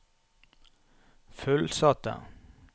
fullsatte